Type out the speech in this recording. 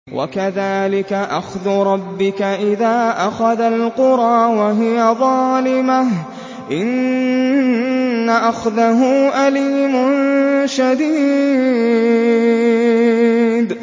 وَكَذَٰلِكَ أَخْذُ رَبِّكَ إِذَا أَخَذَ الْقُرَىٰ وَهِيَ ظَالِمَةٌ ۚ إِنَّ أَخْذَهُ أَلِيمٌ شَدِيدٌ